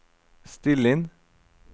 still inn